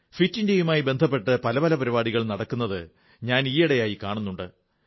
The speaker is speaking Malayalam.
ഫിറ്റ് ഇന്ത്യയുമായി ബന്ധപ്പെട്ട് നിരവധി പരിപാടികൾ നടക്കുന്നത് ഞാൻ ഈയിടെയായി കാണുന്നുണ്ട്